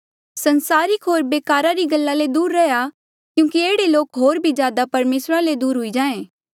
सांसारिक होर बेकारा री गल्ला ले दूर रैहया क्यूंकि एह्ड़े लोक होर भी ज्यादा परमेसरा ले दूर हुई जाहें